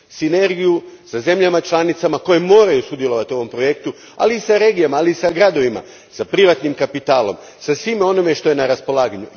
Sinergiju sa zemljama članicama koje moraju sudjelovati u ovom projektu, ali i s regijama i s gradovima, s privatnim kapitalom, sa svime onime što je na raspolaganju.